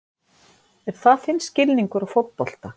Er það þinn skilningur á fótbolta?